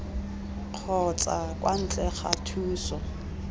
kgotsa kwa ntle ga thuso